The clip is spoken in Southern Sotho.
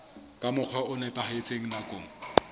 ka mokgwa o nepahetseng nakong